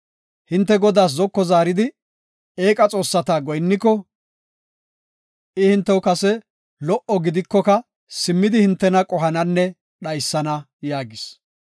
Hinte Godaas zoko zaaridi, eeqa xoossata goyinniko, I hintew kase lo77o gidikoka simmidi hintena qohananne dhaysana” yaagis.